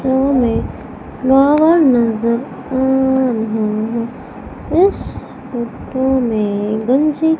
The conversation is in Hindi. नजर आ रहा है इस फोटो में गंजी--